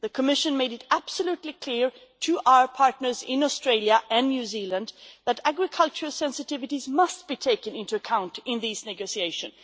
The Commission made it absolutely clear to our partners in Australia and New Zealand that agricultural sensitivities must be taken into account in these negotiations.